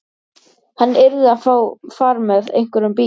Hún hlær og tekur pokann af búðarborðinu, þakkar fyrir viðskiptin.